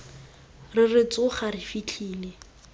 re re tsoga re fitlhele